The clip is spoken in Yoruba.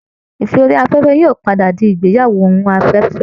Ìfẹ́ orí afẹ́fẹ́ yóò padà di ìgbéyàwó orí afẹ́fẹ́